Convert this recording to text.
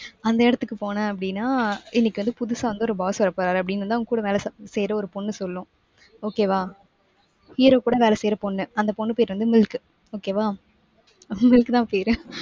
அந்த இடத்துக்கு போன அப்படின்னா இன்னைக்கு வந்து புதுசா வந்து ஒரு boss வரப்போறாரு அப்படின்னு வந்து அவங்க கூட வேலை செ~ செய்யற ஒரு பொண்ணு சொல்லும். okay வா. hero கூட வேலை செய்யற பொண்ணு. அந்த பொண்ணு பேரு வந்து milk okay வா. milk தான் பேரு.